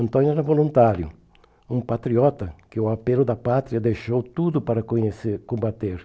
Antônio era voluntário, um patriota que o apelo da pátria deixou tudo para conhecer combater.